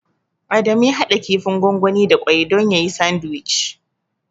Adamu ya haɗa kifin gwangwani da ƙwai don yayi sandiwic.